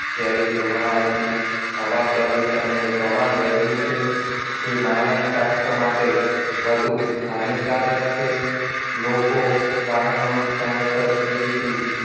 ઝેરી ધુમાડાથી હવા પ્રદુષણનું પ્રમાણ વધ્યું છે જે માનવ સ્વાસ્થ્ય માટે વધુ હાનિકારક છે લોકો વાહનોની સમયસર PUC